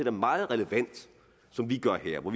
er meget relevant som vi gør her